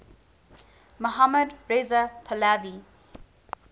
mohammad reza pahlavi